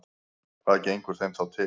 Hvað gengur þeim þá til?